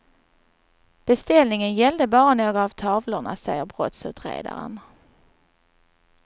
Beställningen gällde bara några av tavlorna, säger brottsutredaren.